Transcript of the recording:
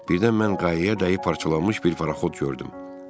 Birdən mən qayaya dayanıb parçalanmış bir paraxod gördüm.